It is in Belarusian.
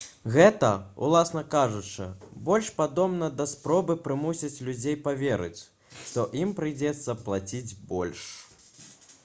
гэта уласна кажучы больш падобна да спробы прымусіць людзей паверыць што ім прыйдзецца плаціць больш